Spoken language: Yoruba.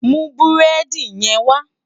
Mú búrèdi yèn wá